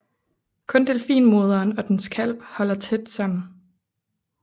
Kun delfinmoderen og dens kalv holder sig tæt sammen